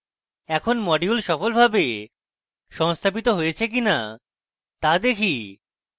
এখন module সফলভাবে সংস্থাপিত হয়েছে কিনা তা দেখি